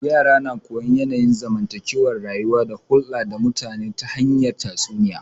Yara na koyon yanayin zamantake rayuwa da hulda da mutane ta hanyar tatsuniya